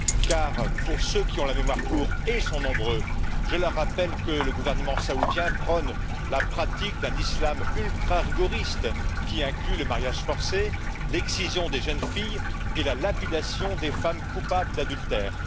Car, pour ceux qui ont la mémoire courte et ils sont nombreux je rappelle que le gouvernement saoudien prône la pratique d'un islam ultrarigoriste, qui inclut le mariage forcé, l'excision des jeunes filles et la lapidation des femmes coupables d'adultère.